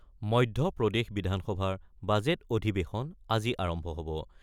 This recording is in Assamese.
মধ্যপ্ৰদেশ বিধানসভাৰ বাজেট অধিৱেশন আজি আৰম্ভ হ'ব।